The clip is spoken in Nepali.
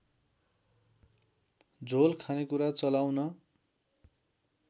झोल खानेकुरा चलाउन